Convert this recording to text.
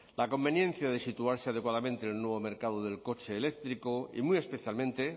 la conveniencia de situarse adecuadamente en el nuevo mercado del coche eléctrico y muy especialmente